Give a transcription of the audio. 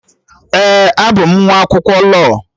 Ee, abụ m nwa akwụkwọ lọọ